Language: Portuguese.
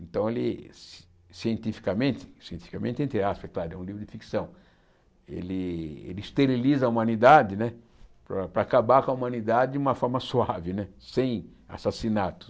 Então ele, ci cientificamente cientificamente entre aspas é claro, é um livro de ficção, ele ele esteriliza a humanidade para acabar com a humanidade de uma forma suave né, sem assassinato.